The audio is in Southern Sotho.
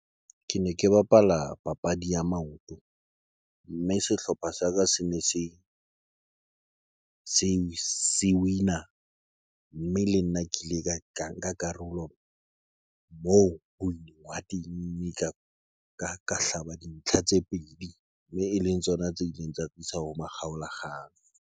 Ke ne ke bapala papadi ya maoto mme sehlopha sa ka se ne se win-a mme le nna ke ile ka nka karolon moo ka hlaba dintlha tse pedi mme e leng tsona tse ileng tsa tlisa ho makgaola kgang.